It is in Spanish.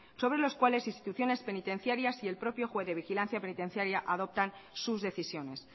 sobre los cuales instituciones penitenciarias y el propio juez de vigilancia penitenciaria adoptan sus decisiones